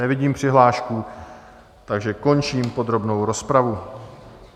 Nevidím přihlášku, takže končím podrobnou rozpravu.